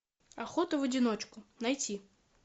охота в одиночку найти